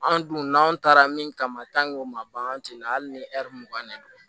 Anw dun n'an taara min kama o ma ban an tɛ na hali ni mugan de don